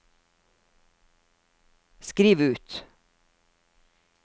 skriv ut